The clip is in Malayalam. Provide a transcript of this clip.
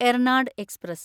എർനാഡ് എക്സ്പ്രസ്